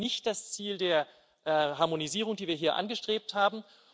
Das war gerade nicht das Ziel der Harmonisierung, die wir hier angestrebt haben.